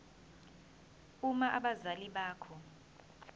uma abazali bakho